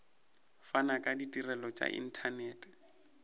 fana ka ditirelo tša inthanete